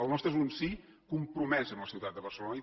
el nostre és un sí compromès amb la ciutat de barcelona